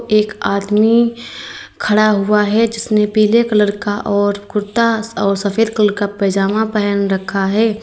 एक आदमी खड़ा हुआ है जिसने पिले कलर का और कुर्ता और सफेद कलर का पैजामा पहेन रखा है।